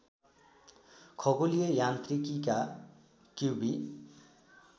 खगोलीय यान्त्रिकीका क्युबी